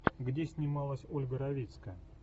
где снималась ольга равицкая